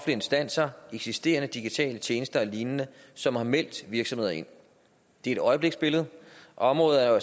instanser eksisterende digitale tjenester og lignende som har meldt virksomheder ind det er et øjebliksbillede området er jo